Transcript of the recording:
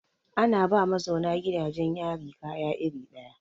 Ana ba ma mazauna gidajen yari kaya iri ɗaya.